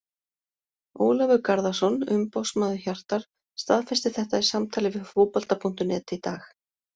Ólafur Garðarsson, umboðsmaður Hjartar staðfesti þetta í samtali við Fótbolta.net í dag.